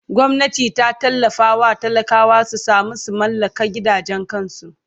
Gwamnati ta tallafawa talakawa su samu su mallaka gidajen kansu!